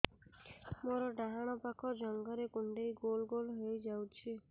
ମୋର ଡାହାଣ ପାଖ ଜଙ୍ଘରେ କୁଣ୍ଡେଇ ଗୋଲ ଗୋଲ ହେଇଯାଉଛି